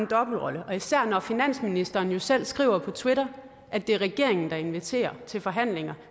dobbeltrolle og især når finansministeren jo selv skriver på twitter at det er regeringen der inviterer til forhandlinger